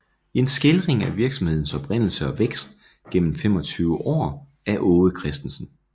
En Skildring af Virksomhedens Oprindelse og Vækst gennem 25 Aar af Aage Christensen